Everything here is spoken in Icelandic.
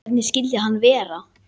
Hvernig skyldi hann vera?